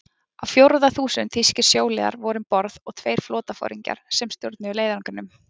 Á fjórða þúsund þýskir sjóliðar voru um borð og tveir flotaforingjar, sem stjórnuðu leiðangrinum.